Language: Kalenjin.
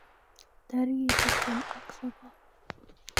tarigit tiptem ak sogol